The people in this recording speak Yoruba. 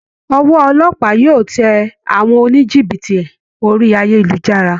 Ọwọ́ olópàá yóò tẹ àwọn oníjìbìtì orí ayélujára